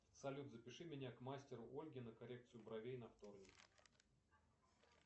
салют запиши меня к мастеру ольге на коррекцию бровей на вторник